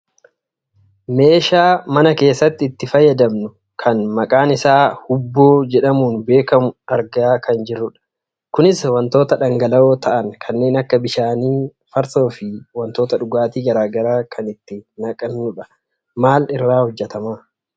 Meeshaa mana keessatti itti fayyadamnu kan maqaan isaa huubboo jedhamuun beekkamu argaa kan jirrudha. Kunis wantoota dhangala'oo ta'an kanneen akka bishaanii, farsoo fi wantoota dhugaatii garagaraa kan itti naqannudha. Maal irraa hojjatama?